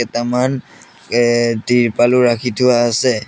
কেটামান এ তিৰপালো ৰাখি থোৱা আছে।